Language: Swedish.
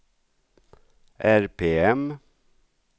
RPM